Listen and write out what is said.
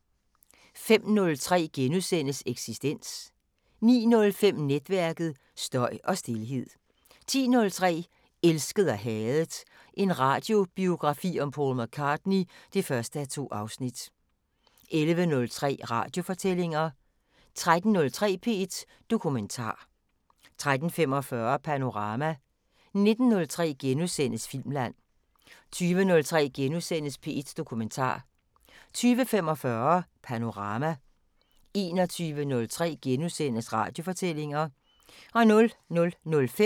05:03: Eksistens * 09:05: Netværket: Støj og stilhed 10:03: Elsket og hadet – en radiobiografi om Paul McCartney (1:2) 11:03: Radiofortællinger 13:03: P1 Dokumentar 13:45: Panorama 19:03: Filmland * 20:03: P1 Dokumentar * 20:45: Panorama 21:03: Radiofortællinger *